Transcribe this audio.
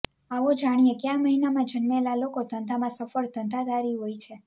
આવો જાણીએ ક્યા મહિનામાં જન્મેલા લોકો ધંધામાં સફળ ધંધાદારી હોય છે